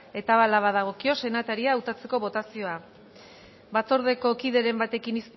eta hala badagokio senataria hautatzeko botazioa batzordeko kideren batek